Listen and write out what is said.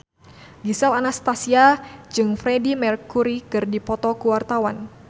Gisel Anastasia jeung Freedie Mercury keur dipoto ku wartawan